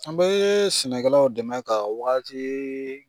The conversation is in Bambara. An bɛ ye sɛnɛkɛlaw dɛmɛ ka waati